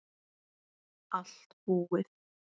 Allt búið